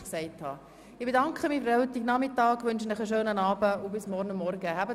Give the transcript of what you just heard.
Ich bedanke mich für den heutigen Nachmittag und wünsche Ihnen allen noch einen schönen Abend.